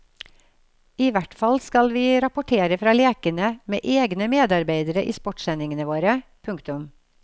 I hvert fall skal vi rapportere fra lekene med egne medarbeidere i sportssendingene våre. punktum